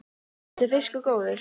Finnst þér fiskur góður?